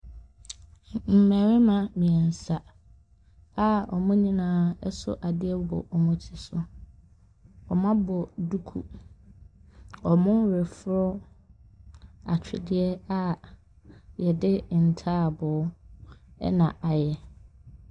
M..mmarima mmeɛnsa a wɔn nyinaa hyɛ adeɛ wɔ wɔn ti so. Wɔabɔ duku. Wɔreforo atweredeɛ a yɛse ntaaboow na ayɛ.